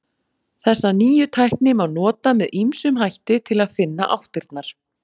Þessa nýju tækni má nota með ýmsum hætti til að finna áttirnar.